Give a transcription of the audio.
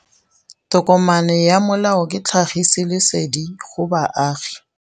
Tokomane ya molao ke tlhagisi lesedi go baagi.